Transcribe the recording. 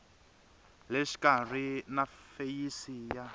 le xikarhi na feyisi ya